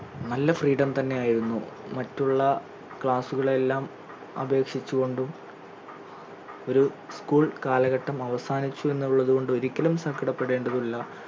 നല്ല freedom തന്നെ ആയിരുന്നു മറ്റുള്ള class കളെ എല്ലാം അപേക്ഷിച് കൊണ്ടും ഒരു school കാലഘട്ടം അവസാനിച്ചു എന്നുള്ളത് കൊണ്ടും ഒരിക്കലും സങ്കടപെടേണ്ടതില്ല